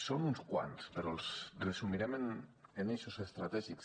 són uns quants però els resumirem en eixos estratègics